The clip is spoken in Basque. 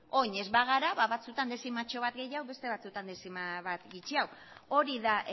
orain ez bagara ba batzuetan dezimatxo bat gehiago beste batzuetan dezima bat gutxiago hori da